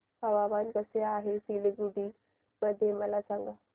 हवामान कसे आहे सिलीगुडी मध्ये मला सांगा